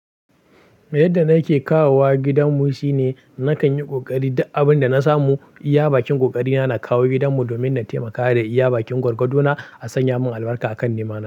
Yadda nake kawowa gidanmu shi ne nakan yi ƙoƙari duk abin da na samu, iya bakin ƙoƙarina, na kawo gidanmu domin na taimaka da iya bakin gwargwadona a sanya min albarka a kan nemana.